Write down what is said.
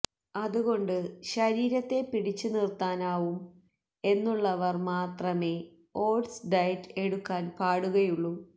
അതുകൊണ്ട് ശരീരത്തെ പിടിച്ച് നിര്ത്താനാവും എന്നുള്ളവര് മാത്രമേ ഓട്സ് ഡയറ്റ് എടുക്കാന് പാടുകയുള്ളൂ